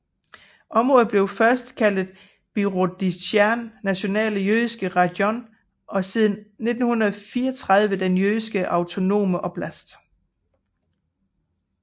Området blev først kaldet Birobidzjan nationale jødiske rajon og siden i 1934 den Jødiske autonome oblast